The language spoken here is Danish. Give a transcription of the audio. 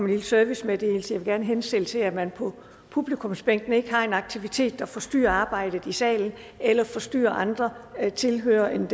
lille servicemeddelelse jeg vil gerne henstille til at man på publikumsbænkene ikke har en aktivitet der forstyrrer arbejdet i salen eller forstyrrer andre tilhørere